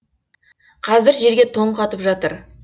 қазір жерге тоң қатып жатыр